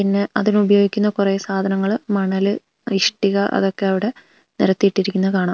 പിന്നെ അതിനുപയോഗിക്കുന്ന കുറേ സാധാനങ്ങള് മണല് ഇഷ്ട്ടിക അതൊക്കെ അവിടെ നിരത്തി ഇട്ടിരിക്കുന്നത് കാണാം.